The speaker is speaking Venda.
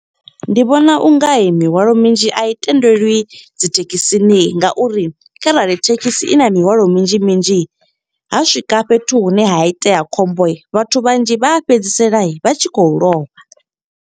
Ndi vhona u nga mihwalo minzhi a i tendelwi dzi thekhisini. Nga uri kharali thekhisi i na mihwalo minzhi minzhi, ha swika fhethu hune ha itea khombo, vhathu vhanzhi vha fhedzisela vha tshi khou lovha.